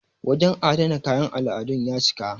wajen adana kayan al'adun ya cika